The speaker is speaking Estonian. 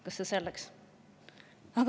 Aga see selleks.